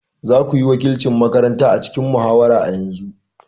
Za ku wakilci makaranta a cikin muhawara a yanzu!